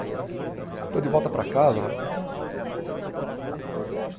Estou de volta para casa, rapaz.